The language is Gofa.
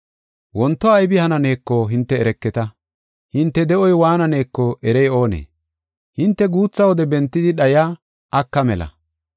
Wonto aybi hananeeko hinte ereketa. Hinte de7oy waananeko erey oonee? Hinte guutha wode bentidi dhayiya aka mela.